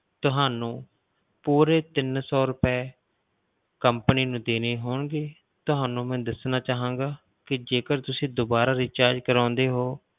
ਤੁਹਾਨੂੰ ਪੂਰੇ ਤਿੰਨ ਸੌ ਰੁਪਏ company ਨੂੰ ਦੇਣੇ ਹੋਣਗੇ, ਤੁਹਾਨੂੰ ਮੈਂ ਦੱਸਣਾ ਚਾਹਾਂਗਾ ਕਿ ਜੇਕਰ ਤੁਸੀਂ ਦੁਬਾਰਾ recharge ਕਰਵਾਉਂਦੇ ਹੋ,